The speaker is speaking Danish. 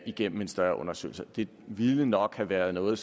igennem en større undersøgelse ville nok have været noget